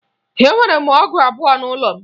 Enwere m ọgụ abụọ n'ụlọ m